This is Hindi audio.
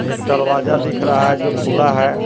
एक दरवाजा दिख रहा है जो खुला है।